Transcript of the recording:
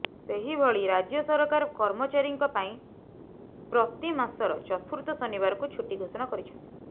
ସେହିଭଳି ରାଜ୍ୟ ସରକାର କର୍ମଚାରୀଙ୍କ ପାଇଁ ପ୍ରତି ମାସର ଚତୁର୍ଥ ଶନିବାରକୁ ଛୁଟି ଘୋଷଣା କରିଛନ୍ତି